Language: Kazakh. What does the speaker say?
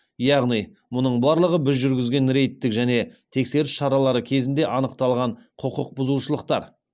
яғни мұның барлығы біз жүргізген рейдтік және тексеріс шаралары кезінде анықталған құқық бұзушылықтар